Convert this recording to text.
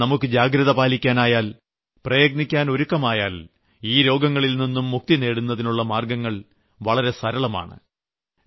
എന്നാൽ നമുക്ക് ജാഗ്രത പാലിക്കാനായാൽ പ്രയത്നിക്കാൻ ഒരുക്കമായാൽ ഈ രോഗങ്ങളിൽനിന്നും മുക്തി നേടുന്നതിനുള്ള മാർഗ്ഗങ്ങൾ വളരെ സരളമാണ്